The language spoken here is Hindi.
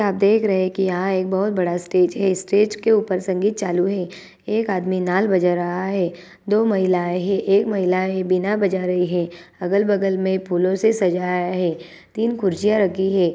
यहाँ देख रहे है की यहाँ बहुत बड़ा स्टेज है स्टेज के ऊपर संगीत चालू है एक आदमी नाल बजा रहा है दो महिलाई है एक महिला विना बजा रही है अगल बागल में फूलों से सजाया है तीन कुर्सियां रखी है।